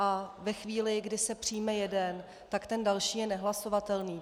A ve chvíli, kdy se přijme jeden, tak ten další je nehlasovatelný.